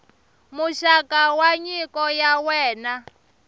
muxaka wa nyiko ya wena